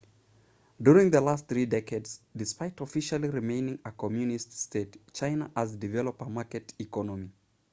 during the last three decades despite officially remaining a communist state china has developed a market economy